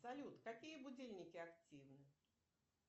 салют какие будильники активны